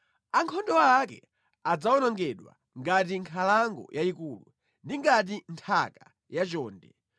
Ankhondo ake adzawonongedwa ngati nkhalango yayikulu ndi ngati nthaka yachonde.